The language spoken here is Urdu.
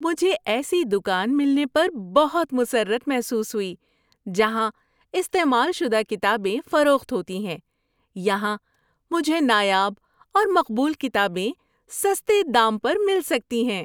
مجھے ایسی دکان ملنے پر بہت مسرت محسوس ہوئی جہاں استعمال شدہ کتابیں فروخت ہوتی ہیں۔ یہاں مجھے نایاب اور مقبول کتابیں سستے دام پر مل سکتی ہیں۔